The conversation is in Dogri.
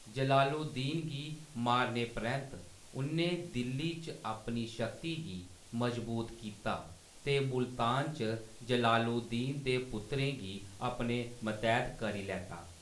जलालुद्दीन गी मारने परैंत्त, उ'न्नै दिल्ली च अपनी शक्ति गी मज़बूत कीता, ते मुल्तान च जलालुद्दीन दे पुत्तरें गी अपने मतैह्‌त करी लैता।